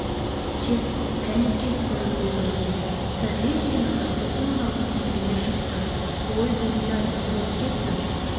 кет кәне кет көрінбе көзіме сәлден кейін ырысбектің даусы күңірене шықты ой дүние-ай не боп кеттің